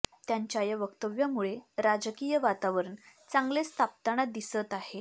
त्यांच्या या वक्तव्यामुळे राजकीय वातावरण चांगलेच तापताना दिसत आहे